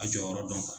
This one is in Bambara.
A jɔyɔrɔ dɔn kan